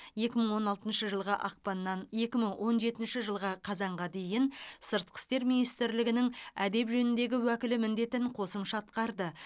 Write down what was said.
екі мың он алтыншы жылғы ақпаннан екі мың он жетінші жылғы қазанға дейін сыртқы істер министрлігінің әдеп жөніндегі уәкілі міндетін қосымша атқарды